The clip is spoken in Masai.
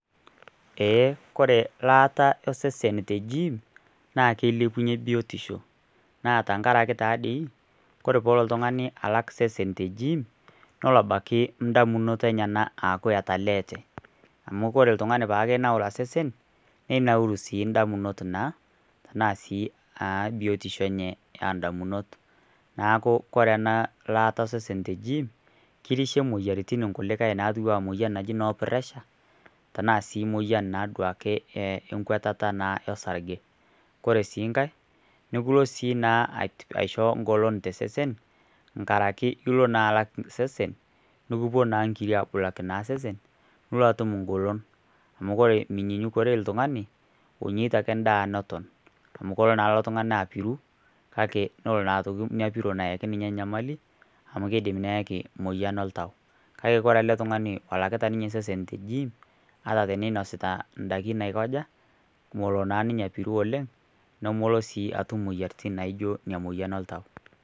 Eeh kore laaata osesen te gim naa keilepunyie biotisho naa tenkaraki taadii ore gim naa iyiolo abaiki toondamunot enyenak aaku etaaleete amu kore oltung'ani paaki peenaura sesen nemenauru sii indamunot naa naasii aabiotisho enye indamunot neeku kore ena laata osesen te gim kirishie inkulie moyiaritin naji noo pressure tenaa sii duake moyian enkuatata orsarge kore sii nkae nepuonu siii naa tengolon tosesen nkaraki ilo naa alak sesen nikipuo naa inkirik aabulaki sesen nilo atum engolon amu ore oltung'ani onyiata ake endaa neton naa kelo naa ilo tung'ani apiru naa kelo naa ina piron ayaki ninye enyamali amu keidim neyaki emoyian oltau ore ele tung'ani olakita ninye osesen te jiim naa tenenasita indaikin aikaja amu kelo naa ninye apiru oleng nemelo sii atu imoyiaritin naaijio emoyian oltau.